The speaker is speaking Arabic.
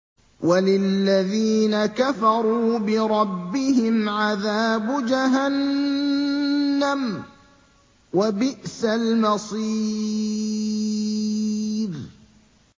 وَلِلَّذِينَ كَفَرُوا بِرَبِّهِمْ عَذَابُ جَهَنَّمَ ۖ وَبِئْسَ الْمَصِيرُ